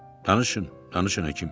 Danışın, danışın həkim.